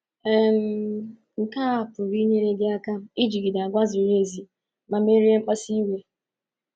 um Nke a pụrụ inyere gị aka ijigide àgwà ziri ezi ma merie mkpasu iwe.